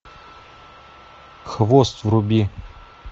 хвост вруби